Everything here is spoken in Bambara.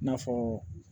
I n'a fɔ